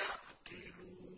يَعْقِلُونَ